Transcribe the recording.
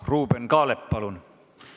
Ruuben Kaalep, palun!